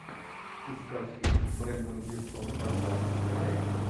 искать фильм брендан глисон донбасс окраина